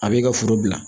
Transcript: A b'i ka foro bila